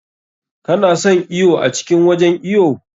Ka na son iwo a cikin wajen iwo?